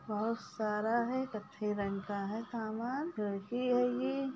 बहुत सारा है कत्थे रंग का है सामान --